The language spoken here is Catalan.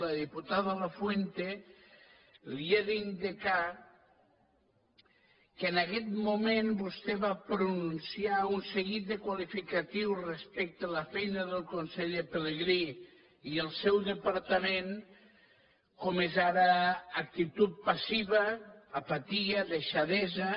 a la diputada lafuente li he d’indicar que en aguest moment vostè va pronunciar un seguit de qualificatius respecte a la feina del conseller pelegrí i el seu departament com és ara actitud passiva apatia deixadesa